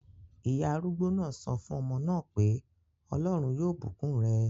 Ìyá arúgbó náà sọ fún ọmọ náà pé "Ọlọ́run yóò bùkún rẹ!"